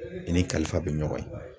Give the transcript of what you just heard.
I ni kalifa bɛ ɲɔgɔn ye.